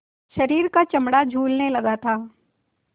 शरीर का चमड़ा झूलने लगा था